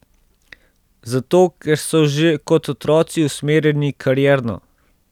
Zato, ker so že kot otroci usmerjeni karierno.